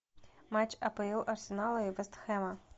матч апл арсенала и вест хэма